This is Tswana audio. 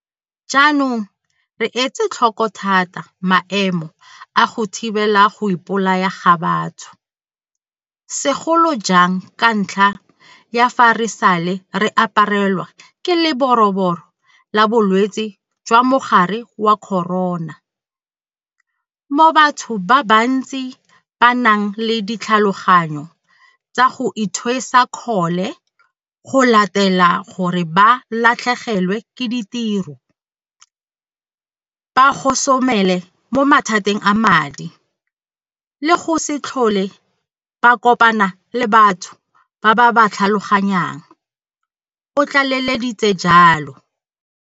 Jaanong re etse tlhoko thata maemo a go thibela go ipo laya ga batho, segolo jang ka ntlha ya fa re sale re aparelwa ke Leroborobo la Bolwetse jwa Mogare wa Corona, mo batho ba bantsi ba nang le ditlhaloganyo tsa go ithwesa kgole go latela gore ba latlhegelwe ke ditiro, ba gosomele mo mathateng a madi le go se tlhole ba kopana le batho ba ba ba tlhaloganyang, o tlaleleditse jalo.